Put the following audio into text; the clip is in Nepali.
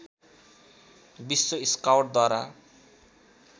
विश्व स्काउटद्वारा